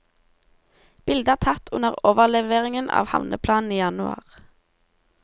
Bildet er tatt under overleveringen av havneplanen i januar.